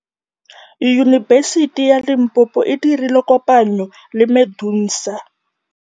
Yunibesiti ya Limpopo e dirile kopanyô le MEDUNSA.